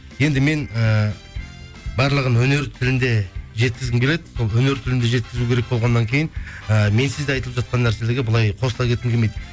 енді мен ііі барлығын өнер тілінде жеткізгім келеді сол өнер тілінде жеткізу керек болғаннан кейін ііі менсіз де айтылып жатқан нәрселерге былай қосыла кеткім келмейді